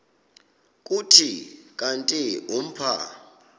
kuthi kanti umpha